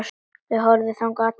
Þær horfðu þangað allar.